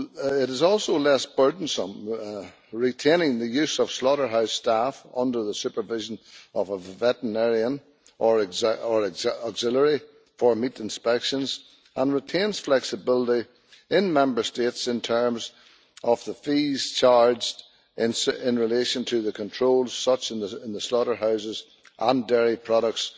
It is also less burdensome retaining the use of slaughterhouse staff under the supervision of a veterinarian or auxiliary for meat inspections, and it retains flexibility in Member States in terms of the fees charged in relation to controls such as in the slaughterhouses and dairy products